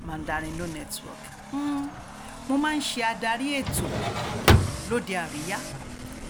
mandarin um no network hmm mo máa ń ṣe adarí ètò um lóde àríyá